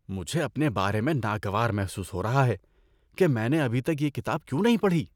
مجھے اپنے بارے میں ناگوار محسوس ہو رہا ہے کہ میں نے ابھی تک یہ کتاب کیوں نہیں پڑھی۔